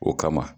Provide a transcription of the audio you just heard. O kama